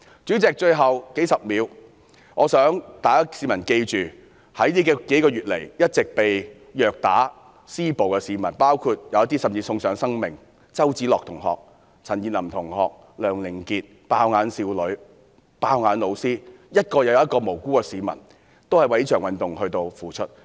主席，最後數十秒，我想香港市民記着這數個月以來被虐打和施暴的市民，有些甚至送上生命，包括周梓樂同學、陳彥霖同學、梁凌杰、"爆眼"少女、"爆眼"老師，一名又一名無辜的市民為了這場運動付出。